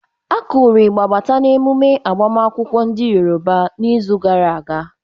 Akuru ịgbà Bata n'ememe agbamakwụkwọ ndị Yoroba n'izu gara aga.